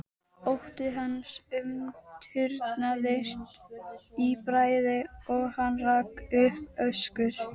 Ótti hans umturnaðist í bræði og hann rak upp öskur.